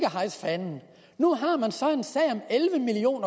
hejse fanen nu har man så en sag om elleve million